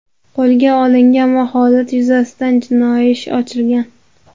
qo‘lga olingan va holat yuzasidan jinoiy ish ochilgan.